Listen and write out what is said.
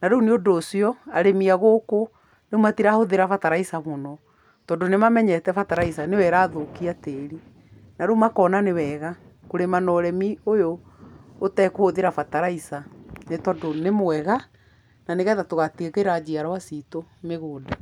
Na rĩu nĩ ũndũ ũcio, arĩmi a gũkũ, rĩũ matirahũthĩra bataraica mũno, tondũ nimamenyete bataraica nĩyo ĩrathũkia tĩĩri. Na rĩu makona nĩwega kũrĩma na ũrĩmi ũyũ ũtekũhũthĩra bataraica nĩtondũ nĩwega, na nĩgetha tũgatigĩra njiarwa citũ mĩgũnda.